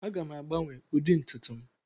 Aga m agbanwe ụdị ntutu m.